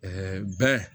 bɛ